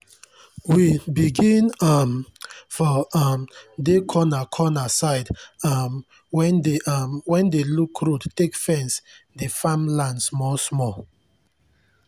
we begin um for um dey corna cona side um wen dey um wen dey look road take fence dey farm land smoll smoll